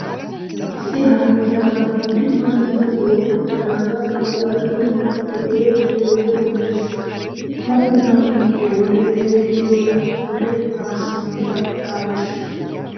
Issi haree de'iyagaa bolli masunttay goo'i uttidaagaa naa"u asati meeccido de'iyogee beettees. Ha masunttaa meecciyo wode xeelliyo wode taassi bollan caalees.